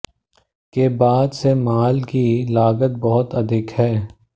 के बाद से माल की लागत बहुत अधिक है